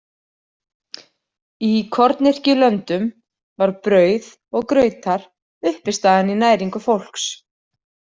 Í kornyrkjulöndum var brauð og grautar uppistaðan í næringu fólks.